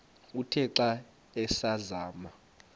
uthe xa asazama